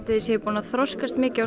þið séuð búnar að þroskast mikið og